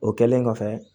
O kɛlen kɔfɛ